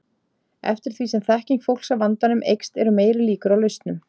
Eftir því sem þekking fólks á vandanum eykst eru meiri líkur á lausnum.